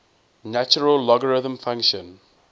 natural logarithm function